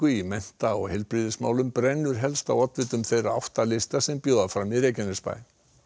í mennta og heilbrigðismálum brennur helst á oddvitum þeirra átta lista sem bjóða fram í Reykjanesbæ